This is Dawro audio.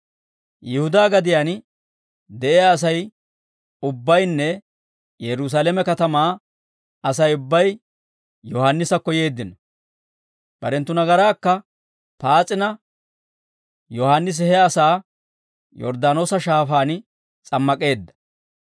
Yihudaa gadiyaan de'iyaa Asay ubbaynne Yerusaalame katamaa Asay ubbay Yohaannisakko yeeddino. Barenttu nagaraakka paas'ina, Yohaannisi he asaa Yorddaanoosa Shaafaan s'ammak'eedda.